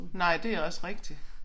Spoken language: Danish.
Nej det også rigtigt